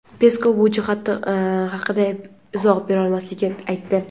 Peskov bu jihat haqida izoh berolmasligini aytdi.